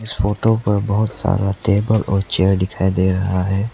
Photo पर बहुत सारा टेबल और चेयर दिखाई दे रहा है।